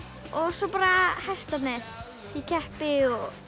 svo hestarnir ég keppi